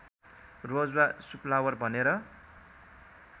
रोज वा सुफ्लावर भनेर